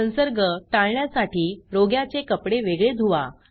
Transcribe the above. संसर्ग टाळण्यासाठी रोग्याचे कपडे वेगळे धुवा